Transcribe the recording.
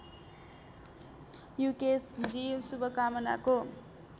युकेशजी शुभकामनाको